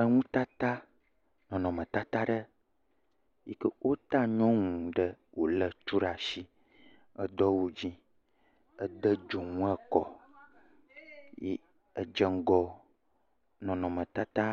Enutata, nɔnɔmetata aɖe yi ke wota nyɔnu ɖe wòlé tu ɖe asi, edo awu dzɛ̃, wode dzonu kɔ edzeŋgɔ nɔnɔmetata